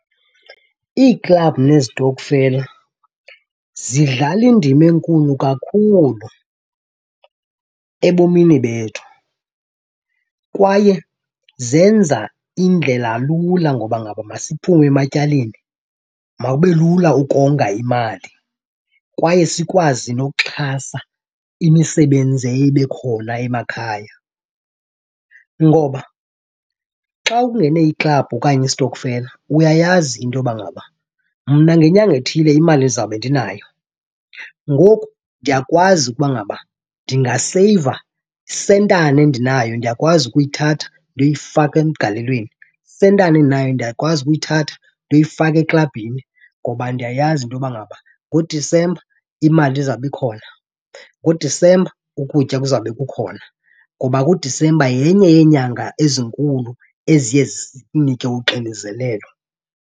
Iiklabhu nezitokfela zidlala indima enkulu kakhulu ebomini bethu kwaye zenza indlela lula ngoba ngaba masiphume ematyaleni mawube lula ukonga imali kwaye sikwazi noxhasa imisebenzi eye ibe khona emakhaya. Ngoba xa ungene iklabhu okanye istokfela uyayazi into yoba ngaba mna ngenyanga ethile imali ndizawube ndinayo. Ngoku ndiyakwazi ukuba ngaba ndingaseyiva, isentana endinayo ndiyakwazi ukuyithatha ndiyoyifaka emgalelweni, isentana endinayo ndiyakwazi ukuyithatha ndiyoyifaka eklabhini. Ngoba ndiyayazi into yoba ngaba ngoDisemba imali izawube ikhona, ngoDisemba ukutya kuzawube kukhona. Ngoba ke uDisemba yenye yeenyanga ezinkulu eziye sisinike uxinezelelo.